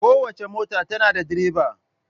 Kowace mota tana da direba.